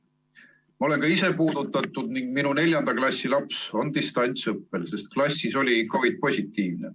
Ma olen ka ise puudutatud, minu neljanda klassi laps on distantsõppel, sest klassis oli COVID-positiivne.